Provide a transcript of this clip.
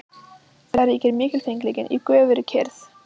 Þar ríkir mikilfengleikinn í göfugri kyrrð.